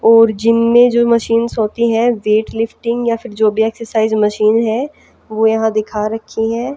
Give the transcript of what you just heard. और जिम में जो मशीन्स होती हैं वेटलिफ्टिंग या फिर जो भी एक्सरसाइज मशीन हैं वो यहां दिखा रखी हैं।